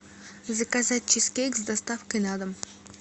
заказать чизкейк с доставкой на дом